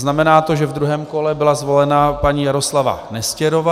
Znamená to, že v druhém kole byla zvolena paní Jaroslava Nestěrová.